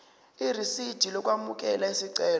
irisidi lokwamukela isicelo